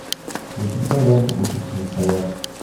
запускай ленту учимся рисовать